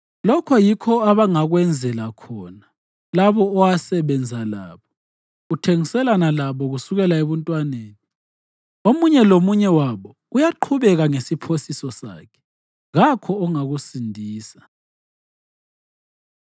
Lokho yikho abangakwenzela khona labo owasebenza labo, uthengiselana labo kusukela ebuntwaneni. Omunye lomunye wabo uyaqhubeka ngesiphosiso sakhe; kakho ongakusindisa.”